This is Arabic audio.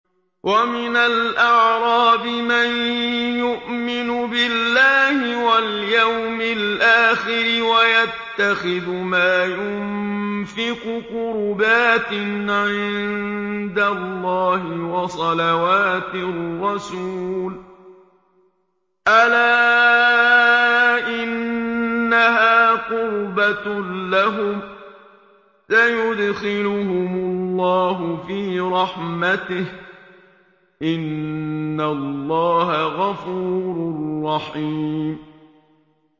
وَمِنَ الْأَعْرَابِ مَن يُؤْمِنُ بِاللَّهِ وَالْيَوْمِ الْآخِرِ وَيَتَّخِذُ مَا يُنفِقُ قُرُبَاتٍ عِندَ اللَّهِ وَصَلَوَاتِ الرَّسُولِ ۚ أَلَا إِنَّهَا قُرْبَةٌ لَّهُمْ ۚ سَيُدْخِلُهُمُ اللَّهُ فِي رَحْمَتِهِ ۗ إِنَّ اللَّهَ غَفُورٌ رَّحِيمٌ